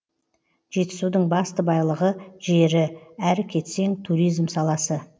жетісудың басты байлығы жері әрі кетсең туризм саласы